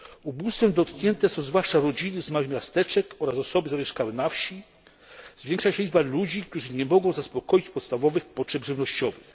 Ubóstwem dotknięte są zwłaszcza rodziny z małych miasteczek oraz osoby zamieszkałe na wsi. Zwiększa się liczba ludzi, którzy nie mogą zaspokoić podstawowych potrzeb żywnościowych.